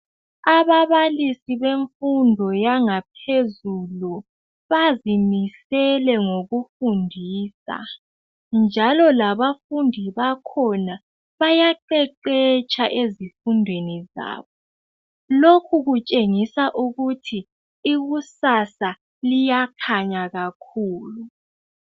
Ababalisi bemfundo yangaphezulu bazimisele ngokufundisa, njalo labafundi bakhona bayaqeqetsha ezifundweni zabo. Lokhu kutshengisa ukuthi ikusasa iyakhanya kakhulu.